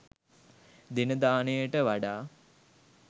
දෙන දානයට වඩා